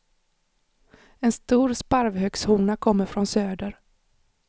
En stor sparvhökshona kommer från söder.